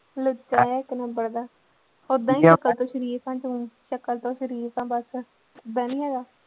ਲੁੱਚਾ ਜਿਹਾ ਤੈਨੂੰ ਓਦਾਂ ਹੀ ਸ਼ਕਲ ਤੋਂ ਸਰੀਫ਼ ਆ ਤੂੰ ਸ਼ਕਲ ਤੋਂ ਸਰੀਫ਼ ਆਂ ਬਸ, ਓਦਾਂ ਨੀ ਹੈਗਾ।